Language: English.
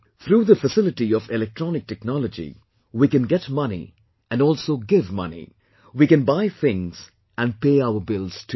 Through the facility of electronic technology, we can get money and also give money; we can buy things and pay our bills too